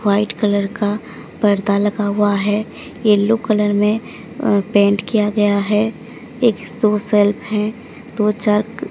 white colour का पर्दा लगा हुआ हैं येल्लो कलर में अ पेंट किया गया हैं एक शो शेल्फ हैं दो चार --